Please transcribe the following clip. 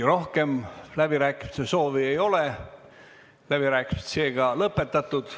Rohkem läbirääkimiste soovi ei ole, läbirääkimised on lõpetatud.